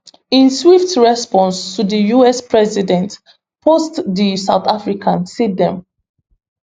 in swift response to di us president post di south african say dem